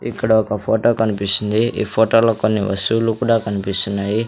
ఇక్కడ ఒక ఫోటో కనిపిస్తుంది ఈ ఫొటోలో కొన్ని వస్తువులు కూడా కన్పిస్తున్నాయి.